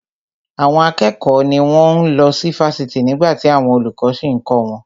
Àwọn akẹ́kọ̀ọ́ ni wón ń lọ sí Fásitì nígbàtí àwọn olùkọ́ sì ń kọ́ wọn